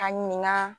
A ɲininga